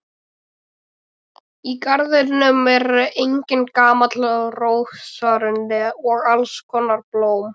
Í garðinum er einnig gamall rósarunni og alls konar blóm.